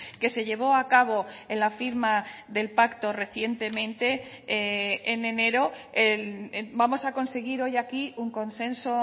que se llevó a cabo en la firma del pacto recientemente en enero vamos a conseguir hoy aquí un consenso